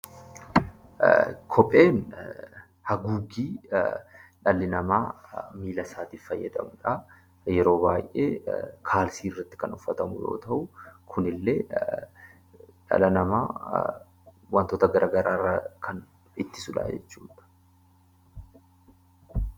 Kopheewwan dhalli namaa haguuggii miila isaatiif fayyadamudha. Yeroo baay'ee kaalsii irratti kan uffatamu yoo ta'u, kunillee dhala namaa wantoota gara garaa irraa kan ittisudha.